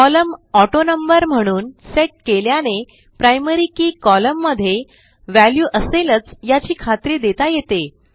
column autonumber म्हणून set केल्याने primary key columnमध्ये व्हॅल्यू असेलच याची खात्री देता येते